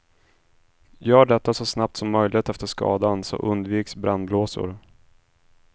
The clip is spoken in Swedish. Gör detta så snabbt som möjligt efter skadan så undviks brännblåsor.